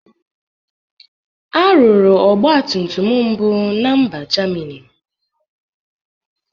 A rụrụ ọgbatumtum mbụ na mba Jamini.